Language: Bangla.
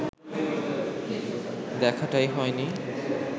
দেখাটাই হয়নি